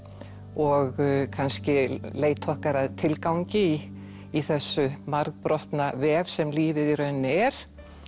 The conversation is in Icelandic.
og kannski leit okkar að tilgangi í þessum margbrotna vef sem lífið í rauninni er